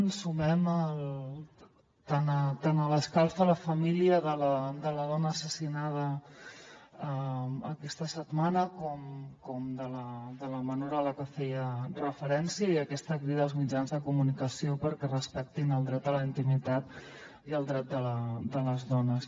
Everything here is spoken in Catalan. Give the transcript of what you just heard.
ens sumem tant a l’escalf a la família de la dona assassinada aquesta setmana com de la menor a la qual feia referència i a aquesta crida als mitjans de comunicació perquè respectin el dret a la intimitat i el dret de les dones